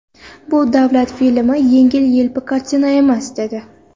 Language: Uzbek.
Bu davlat filmi, yengil-yelpi kartina emas”, dedi.